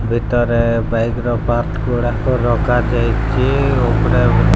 ଭିତରେ ବାଇକ୍ ର ପାର୍ଟ ଗୁଡ଼ାକ ରଖା ଯାଇଛି ଉପରେ --